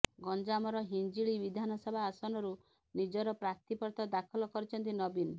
ଗଞ୍ଜାମର ହିଞ୍ଜିଳି ବିଧାନସଭା ଆସନରୁ ନିଜର ପ୍ରାର୍ଥୀପତ୍ର ଦାଖଲ କରିଛନ୍ତି ନବୀନ